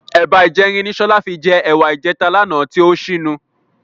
Ẹ̀ba ìjẹrin ni Sọlá fi jẹ ẹ̀wà ìjẹta lánàá tí ó ṣínu.